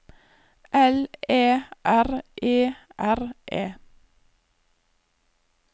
L Æ R E R E